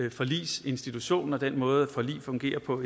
at forligsinstitutionen den måde et forlig fungerer på